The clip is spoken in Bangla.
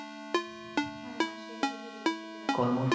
হ্যাঁ আছে। প্রতি বৃহস্পতিবারে কর্ম